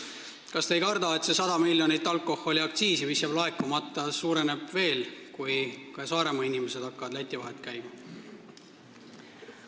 Kas te ei karda, et see 100 miljonit alkoholiaktsiisi, mis jääb laekumata, suureneb veel, kui ka Saaremaa inimesed hakkavad Läti vahet käima?